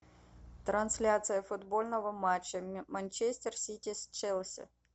трансляция футбольного матча манчестер сити с челси